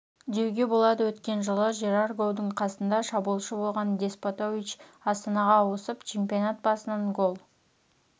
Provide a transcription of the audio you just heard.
деуге болады өткен жылы жерар гоудың қасында шабуылшы болған деспотович астанаға ауысып чемпионат басынан гол